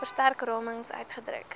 verstrek ramings uitgedruk